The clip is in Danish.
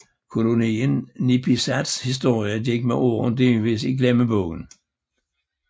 Kolonien Nipisats historie gik med årene delvis i glemmebogen